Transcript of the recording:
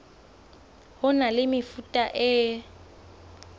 ho na le mefuta e